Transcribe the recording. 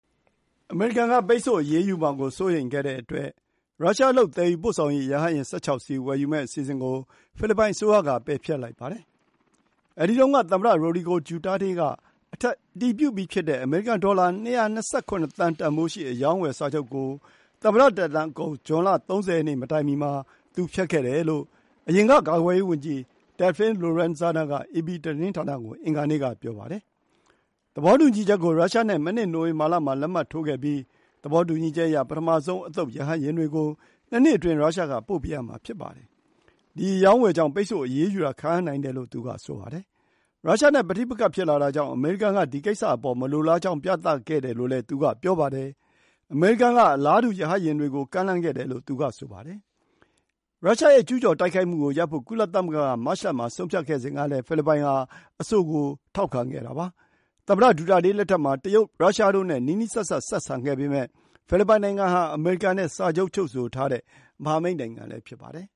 အမေရိကန်က ပိတ်ဆို့အရေးယူမှာကိုစိုးရိမ်တဲ့အတွက် ရုရှားလုပ် သယ်ယူပို့ဆောင်ရေးရဟတ်ယာဉ် ၁၆ စီး ဝယ်ယူမယ့်အစီအစဉ်ကို ဖိလစ်ပိုင်အစိုးရ ဖျက်လိုက်ပါတယ်။ ဒီရဟတ်ယာဉ်တွေဝယ်ယူဖို့ အမေရိကန် ဒေါ်လာ ၂၂၇ သန်း တန်ဖိုးရှိ အရောင်းအဝယ်စာချုပ်ကို ကနဦးအားဖြင့် သမ္မတ Rodrigo Duterte က အတည်ပြုခဲ့ပေမယ့် သမ္မတသက်တမ်းအကုန် ဇွန် ၃၀ ရက်မတိုင်မီမှာ သူ ဖျက်ခဲ့တယ်လို့ အရင်ကာကွယ်ရေးဝန်ကြီး Delfin Lorenzana က အေပီသတင်းဌာနကို အင်္ဂါနေ့က ပြောပါတယ်။ သဘောတူညီချက်ကို ရုရှားနဲ့ မနှစ် နိုဝင်ဘာလမှာ လက်မှတ်ထိုးခဲ့ပြီး သဘောတူညီချက်အရ ပထမဆုံးအသုတ် ရဟတ်ယာဉ်တွေကို ၂ နှစ်အတွင်း ရုရှားက ပို့ပေးရမှာ ဖြစ်ပါတယ်။ ဒီ အရောင်းအဝယ်ကြောင့် အမေရိကန်ရဲ့ ပိတ်ဆို့အရေးယူတာခံရနိုင်တယ်လို့ သူက ဆိုပါတယ်။ အမေရိကန်-ရုရှား တင်းမာမှုတွေ ဖြစ်လာတာကြောင့် အမေရိကန်က ဒီကိစ္စအပေါ် မလိုလားကြောင်း ပြသခဲ့တယ်လို့ သူက ပြောပါတယ်။ အမေရိကန်ဘက်ကလည်း ဖိလစ်ပိုင်စစ်တပ်အတွက် အလားတူ ရဟတ်ယာဉ်တွေကို ရောင်းဖို့ ကမ်းလှမ်းခဲ့တယ်လို့ သူက ဆိုပါတယ်။ ယူကရိန်းကို ရုရှားရဲ့ ကျူးကျော်တိုက်ခိုက်မှုကိုရပ်ဖို့ ကုလသမဂ္ဂက မတ်လမှာ ဆုံးဖြတ်ခဲ့စဉ်ကလည်း ဖိလစ်ပိုင်ဟာ အဆိုကို ထောက်ခံခဲ့တာပါ။ သမ္မတ ဒူတာတေးလက်ထက်မှာ တရုပ် ရုရှားတို့နဲ့ နီးနီးစပ်စပ် ဆက်ဆံခဲ့ပေမယ့် ဖိလစ်ပိုင်ဟာ အမေရိကန်နဲ့ စာချုပ် ချုပ်ဆိုထားတဲ့ မဟာမိတ်နိုင်ငံလည်း ဖြစ်ပါတယ်